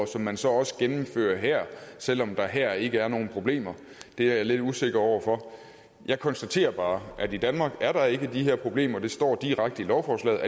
og som man så også gennemfører her selv om der her ikke er nogen problemer det er jeg lidt usikker over for jeg konstaterer bare at i danmark er der ikke de her problemer det står direkte i lovforslaget